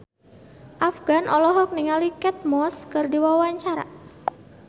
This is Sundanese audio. Afgan olohok ningali Kate Moss keur diwawancara